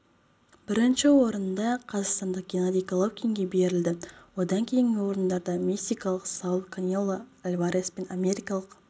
бірінші орын қазақстандық геннадий головкинге берілді одан кейінгі орындарда мексикалық сауль канело альварес пен америкалық